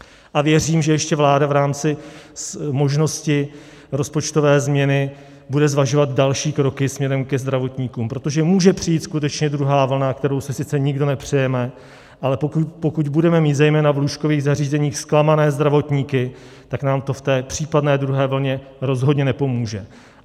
A věřím, že ještě vláda v rámci možnosti rozpočtové změny bude zvažovat další kroky směrem ke zdravotníkům, protože může přijít skutečně druhá vlna, kterou si sice nikdo nepřejeme, ale pokud budeme mít zejména v lůžkových zařízeních zklamané zdravotníky, tak nám to v té případné druhé vlně rozhodně nepomůže.